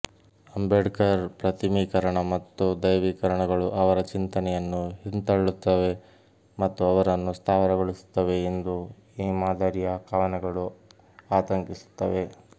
ಅಂಬೇಡ್ಕರ್ ಪ್ರತಿಮೀಕರಣ ಮತ್ತು ದೈವೀಕರಣಗಳು ಅವರ ಚಿಂತನೆಯನ್ನು ಹಿಂತಳ್ಳುತ್ತವೆ ಮತ್ತು ಅವರನ್ನು ಸ್ಥಾವರಗೊಳಿಸುತ್ತವೆ ಎಂದು ಈ ಮಾದರಿಯ ಕವನಗಳು ಆತಂಕಿಸುತ್ತವೆ